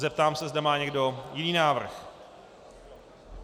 Zeptám se, zda má někdo jiný návrh.